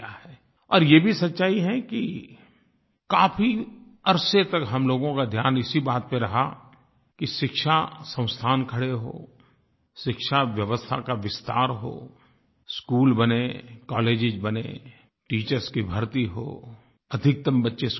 और ये भी सच्चाई है कि काफ़ी अरसे तक हम लोगों का ध्यान इसी बात पर रहा कि शिक्षा संस्थान खड़े हों शिक्षा व्यवस्था का विस्तार हो स्कूल बनें कॉलेजेस बनें टीचर्स की भर्ती हो अधिकतम बच्चे स्कूल आएँ